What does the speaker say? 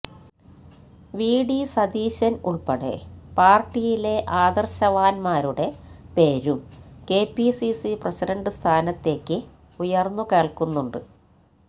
VD Satheesan ഉൾപ്പെടെ പാർട്ടിയിലെ ആദർശവാന്മാരുടെ പേരും കെപിസിസി പ്രസിഡന്റ് സ്ഥാനത്തേക്ക് ഉയർന്നു കേൾക്കുന്നുണ്ട്